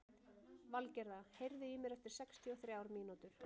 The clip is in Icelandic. Valgerða, heyrðu í mér eftir sextíu og þrjár mínútur.